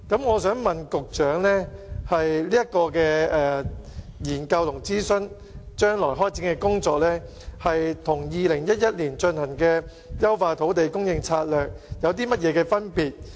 我想問局長就有關的研究和諮詢，將來開展的工作與2011年進行的"優化土地供應策略"公眾諮詢有何分別？